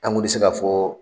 An gun ti se ka fɔ